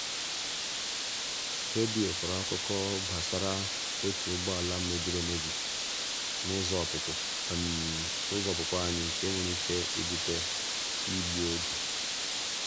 redio kọrọ akụkọ gbasara otu ụgbọala mebiri emebi n'ụzọ ọpụpụ n'ụzọ ọpụpụ anyị nke nwere ike ịbute igbu oge.